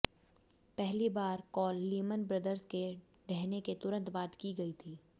पहली बार call Lehman Brothers के ढहने के तुरंत बाद की गई थी